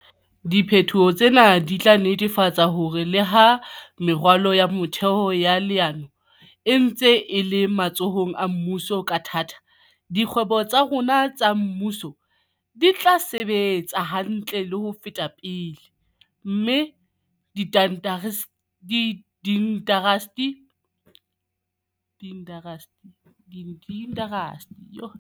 Diphetoho tsena di tla netefatsa hore le ha meralo ya metheo ya leano e ntse e le matsohong a mmuso ka thata, dikgwebo tsa rona tsa mmuso di tla sebetsa hantle le ho feta pele, mme diindasteri tseo di di tshehetsang di tla emelana le tlhodisano ho feta pele.